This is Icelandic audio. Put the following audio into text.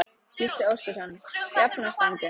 Gísli Óskarsson: Jafnástfanginn?